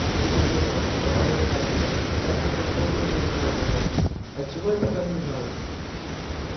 оцепенела поправил дамблдор ясно как божий день вставил локонс от чего я пока не знаю